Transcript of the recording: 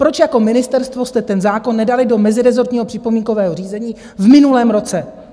Proč jako ministerstvo jste ten zákon nedali do mezirezortního připomínkového řízení v minulém roce?